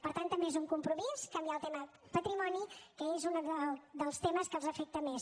per tant també és un compromís canviar el tema patrimoni que és un dels temes que els afecta més